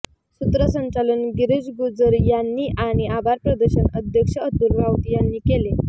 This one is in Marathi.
सूत्रसंचालन गिरीश गुजराणी यांनी आणि आभार प्रदर्शन अध्यक्ष अतुल राऊत यांनी केले